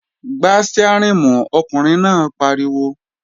Gbá stiárìn mú, ọkùnrin náà pariwo!